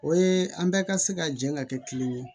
O ye an bɛɛ ka se ka jɛ ka kɛ kelen ye